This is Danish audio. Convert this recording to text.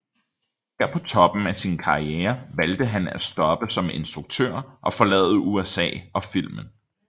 Her på toppen af sin karriere valgte han at stoppe som instruktør og forlade USA og filmen